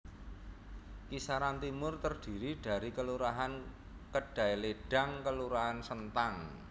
Kisaran Timur trdiri dari kelurahan Kedailedang kelurahan Sentang